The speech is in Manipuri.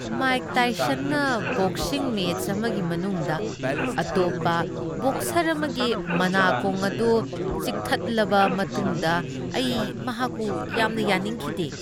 ꯃꯥꯏꯛ ꯇꯥꯏꯁꯟꯅ ꯕꯣꯛꯁꯤꯡ ꯃꯦꯆ ꯑꯃꯒꯤ ꯃꯅꯨꯡꯗ ꯑꯇꯣꯞꯄ ꯕꯣꯛꯁꯔ ꯑꯃꯒꯤ ꯃꯅꯥꯀꯣꯡ ꯑꯗꯨ ꯆꯤꯛꯊꯠꯂꯕ ꯃꯇꯨꯡꯗ ꯑꯩ ꯃꯍꯥꯛꯄꯨ ꯌꯥꯝꯅ ꯌꯥꯅꯤꯡꯈꯤꯗꯦ ꯫